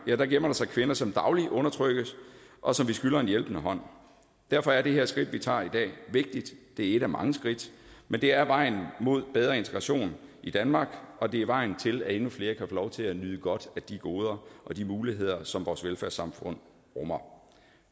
gemmer der sig kvinder som dagligt undertrykkes og som vi skylder en hjælpende hånd derfor er det her skridt vi tager i dag vigtigt det er ét af mange skridt men det er vejen mod bedre integration i danmark og det er vejen til at endnu flere kan få lov til at nyde godt af de goder og de muligheder som vores velfærdssamfund rummer